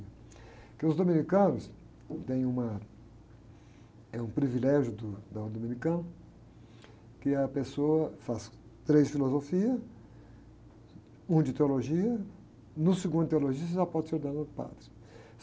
Porque os dominicanos têm uma, é um privilégio do, da ordem dominicana, que a pessoa faz três filosofias, um de teologia, no segundo de teologia você já pode ser ordenado padre.